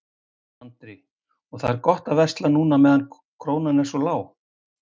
Andri: Og það er gott að versla núna meðan krónan er svona lág?